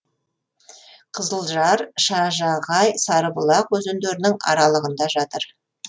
қызылжар шажағай сарыбұлақ өзендерінің аралығында жатыр